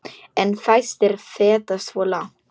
En fæstir feta svo langt.